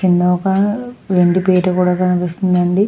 కింద ఒక రెండు బిరువ కూడా కనిపిస్తూ వుంది అండి.